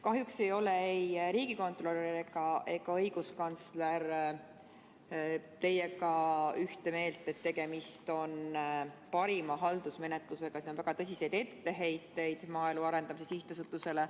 Kahjuks pole ei riigikontrolöril ega õiguskantsler teiega ühte meelt selles, et tegemist on parima haldusmenetlusega, ja on väga tõsiseid etteheiteid maaelu arendamise sihtasutusele.